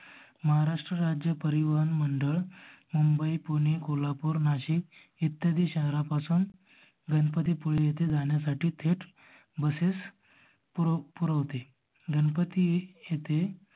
महारास्त्र राज्य परिवहन मंडळ मुंबई पुणे कोल्हापूर नाशिक ईत्यादि शहरापासून गणपति पुळे येथे जाण्यासाठी थेट बसेस पुरपुरवते गणपति येथे